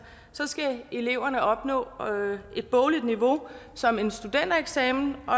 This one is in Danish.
skal eleverne opnå et bogligt niveau som en studentereksamen og